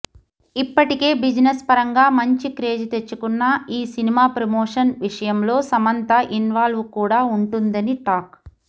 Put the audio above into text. ఇప్పటికే బిజినెస్ పరంగా మంచి క్రేజ్ తెచ్చుకున్న ఈ సినిమా ప్రమోషన్ విషయంలో సమంత ఇన్వాల్వ్ కూడా ఉంటుందని టాక్